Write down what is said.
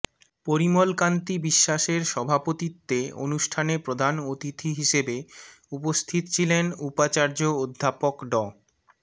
পরিমল কান্তি বিশ্বাসের সভাপতিত্বে অনুষ্ঠানে প্রধান অতিথি হিসেবে উপস্থিত ছিলেন উপাচার্য অধ্যাপক ড